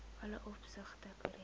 alle opsigte korrek